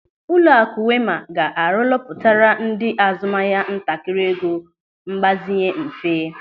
Ụlọakụ Wema ga-arolọpụtara ndị azụmahịa ntakịrị ego mgbazinye mfe.